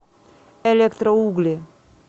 электроугли